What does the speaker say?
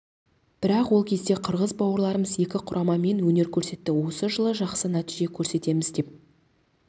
бірақ ол кезде қырғыз бауырларымыз екі құрамамен өнер көрсетті осы жылы жақсы нәтиже көрсетеміз деп